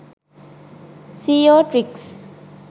seo tricks